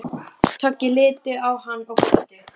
Toggi litu á hann og glottu.